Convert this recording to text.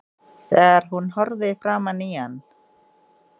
Þegar hún horfði framan í hann